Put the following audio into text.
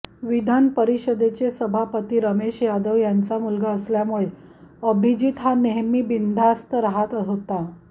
विधान परिषदेचे सभापती रमेश यादव यांचा मुलगा असल्यामुळे अभिजीत हा नेहेमी बिनधास्त राहात होता